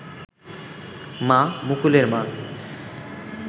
মা, মুকুলের মা